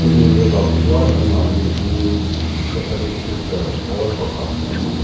mi a nih avang chuan an mahni hihh kotholik sister pawl pakhat an nih--